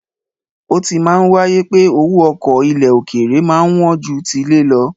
Ó ti máa ń wáyé pé owó ọkọ̀ ilẹ̀ òkèèrè máa ń wọ́n ju tilé lọ.